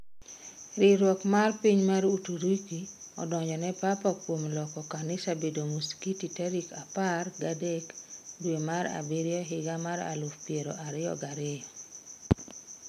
Riwruok mar piny mar Uturuki odonjo ne Papa kuom loko kanisa bedo muskiti tarik apar gadek dwe mar abiriyo higa mar aluf piero ariyo gariyo.